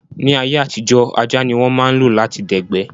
Ní ayé àtijó, ajá ní wọ́n ma ń lo lati dẹ̀gbẹ́